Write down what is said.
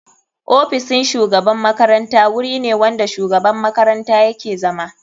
Ofisin shugaban makaranta wuri ne wanda shugaban makaranta yake zama.